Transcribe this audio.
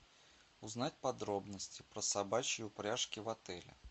узнать подробности про собачьи упряжки в отеле